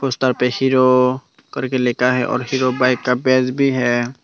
ऊधर पे हीरो करके लिखा है और हीरो बाइक का पेज भी है।